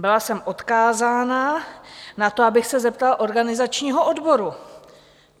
Byla jsem odkázána na to, abych se zeptala organizačního odboru.